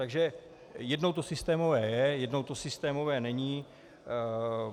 Takže jednou to systémové je, jednou to systémové není.